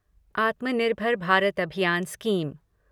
आत्मा निर्भर भारत अभियान स्कीम